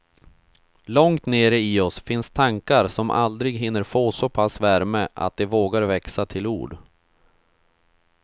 Långt nere i oss finns tankar som aldrig hinner få så pass värme att de vågar växa till ord.